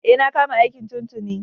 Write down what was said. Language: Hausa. E, na kama aiki tun tuni.